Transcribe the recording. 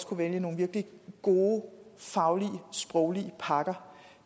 kunne vælge nogle virkelig gode faglige og sproglige pakker